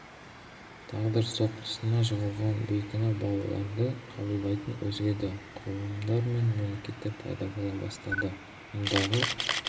тағдыр соққысына жығылған бейкүнә балаларды қабылдайтын өзге де құрылымдар мен мекемелер пайда бола бастады мұндағы